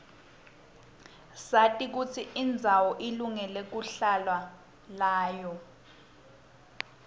sati kutsi indzawo ilungele lwhlalwa layo